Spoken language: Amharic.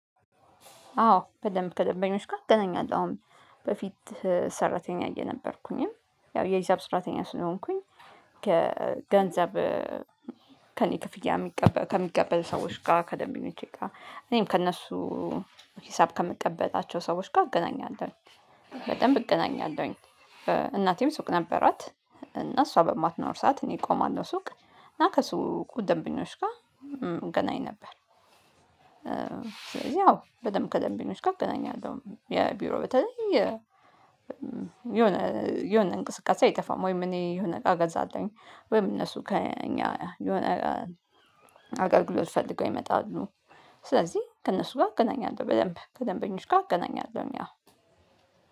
አዎ በደንብ ከደንበኞች ጋር እገናኛለሁ አሁንም በፊት ሰራተኛ እየነበርኩኝም ያው የሂሳብ ሰራተኛ ስለሆንኩኝ። ከገንዘብ ከእኔ ክፍያ ከሚቀበሉ ሰዎች ጋር ከደንበኞቼ ጋር እኔም ከእነሱ ሂሳብ ከምቀበላቸው ሰዎች ጋር እገናኛለሁኝ። በደንብ እገናኛለሁኝ። እናቴም ሱቅ ነበራት እና እሷ በማትኖር ሰዓት እኔ እቆማለሁ ሱቅ እና ከሱቁ ደንበኞች ጋር እገናኝ ነበር። ስለዚህ አዎ በደንብ ከደንበኞች ጋር አገናኛለሁ የቢሮ በተለይ የሆነ የሆነ እንቅስቃሴ አይጠፋም። ወይም እኔ የሆነ አቃ ገዛለሁኝ ወይም እነሱ ከእኛ የሆነ አገልግሎት ፈልገው ይመጣሉ። ስለዚህ ከእነሱ ጋር አገናኛለሁ በደንብ ከደንበኞች ጋር አገናኛለሁኝ አዎ።